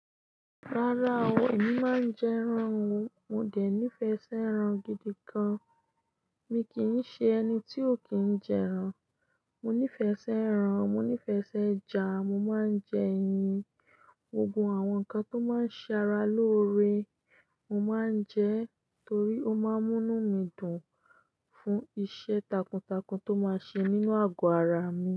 Rárá o, èmi máa ń jẹ ẹran o, mo dè nífẹẹṣẹ ẹran gidi gan. Mi kì í ṣe ẹni tí ó kìn jẹ ẹran. Mo nífẹ̀ẹ́sí ẹran, mo nífẹ̀ẹ́sí ẹja mo ń máa jẹ ẹyin gbogbo àwọn nǹkan tó máa ṣe ara lóore. Mo máa ń jẹ torí òun má mú inú mi fún iṣẹ́ takuntakun tó máa ṣe nínú àgọ́ ara mi.